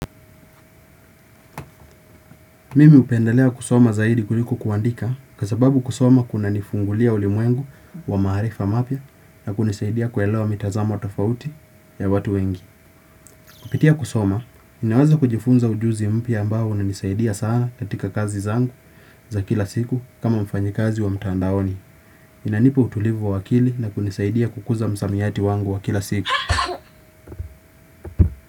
Mimi upendelea kusoma zaidi kuliko kuandika kwa sababu kusoma kuna nifungulia ulimwengu wa maharifa mapia na kunisaidia kuelewa mitazamo tofauti ya watu wengi. Kupitia kusoma, ninawaza kujifunza ujuzi mpia ambao unanisaidia sana katika kazi zangu za kila siku kama mfanyikazi wa mtandaoni. Inanipa utulivu wa wakili na kunisaidia kukuza msamiyati wangu wa kila siku.